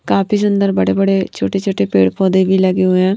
काफी सुंदर बड़े-बड़े छोटे-छोटे पेड़-पौधे भी लगे हुए हैं।